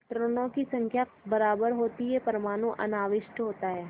इलेक्ट्रॉनों की संख्या बराबर होती है परमाणु अनाविष्ट होता है